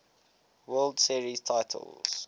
world series titles